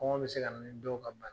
Kɔngɔ be se ka na ni dɔw ka